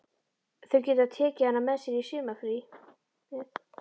Þau geta tekið hana með sér í sumarfríið.